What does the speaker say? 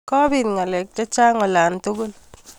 kobit ngalek chechang olatugul